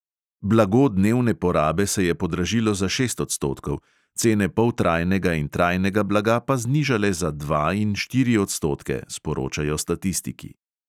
Blago dnevne porabe se je podražilo za šest odstotkov, cene poltrajnega in trajnega blaga pa znižale za dva in štiri odstotke, sporočajo statistiki.